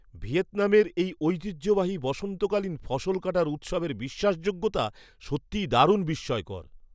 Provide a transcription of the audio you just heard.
ভিয়েতনামের এই ঐতিহ্যবাহী বসন্তকালীন ফসল কাটার উৎসবের বিশ্বাসযোগ্যতা সত্যিই দারুণ বিস্ময়কর!